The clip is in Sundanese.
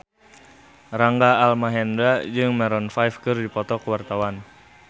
Rangga Almahendra jeung Maroon 5 keur dipoto ku wartawan